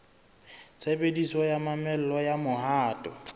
tshebediso ya mamello ya mohato